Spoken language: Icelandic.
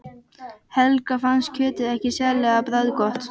Helga fannst kjötið ekki sérlega bragðgott.